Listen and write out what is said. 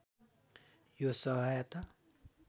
यो सहायता